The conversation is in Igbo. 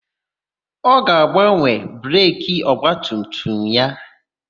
Ọ ga-agbanwe breki ọgbatumtum ya.